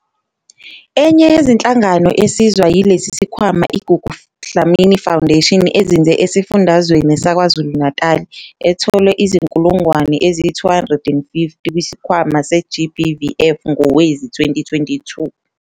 Enye yezinhlangano esizwa yilesi sikhwama i-Gugu Dlamini Foundation ezinze esifundazweni saKwaZulu-Natali, ethole izi-R250 000 kwiSikhwama se-GBVF ngowezi-2022.